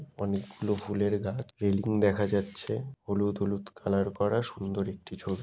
অনেকগুলো ফুলের গাছ। রেলিং দেখা যাচ্ছে। হলুদ হলুদ কালার করা সুন্দর একটি ছবি।